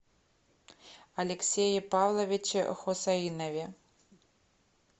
алексее павловиче хусаинове